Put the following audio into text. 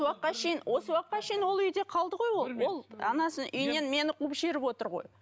шейін осы уақытқа шейін ол үйде қалды ғой ол ол анасының үйінен мені қуып жіберіп отыр ғой